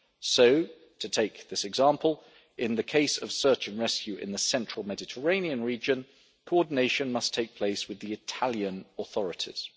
So to take this example, in the case of search and rescue in the central Mediterranean region, coordination must take place with the Italian authorities.